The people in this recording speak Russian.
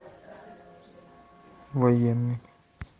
военный